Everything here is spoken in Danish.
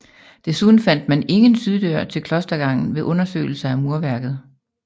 Desuden fandt man ingen syddør til klostergangen ved undersøgelser af murværket